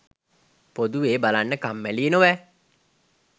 පොදුවේ බලන්න කම්මැලියි නොවැ